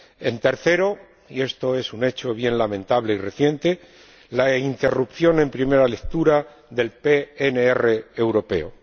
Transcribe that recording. En tercer lugar, y esto es un hecho bien lamentable y reciente, la interrupción en primera lectura del PNR europeo.